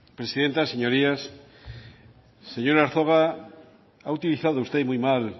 presidenta señorías señor arzuaga ha utilizado usted y muy mal